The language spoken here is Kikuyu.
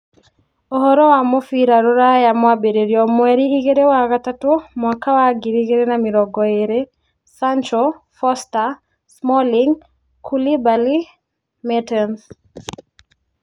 Ũhoro wa mũbira rũraya mwambĩrĩrio mweri igĩrĩ wa gatatũ mwaka wa ngiri igĩrĩ na mĩrongo ĩĩrĩ: Sancho, Foster, Smalling, Koulibaly, Mertens